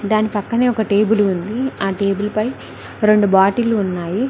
దాని పక్కనే ఒక టేబులు ఉంది ఆ టేబుల్ పై రెండు బాటిళ్లు ఉన్నాయి.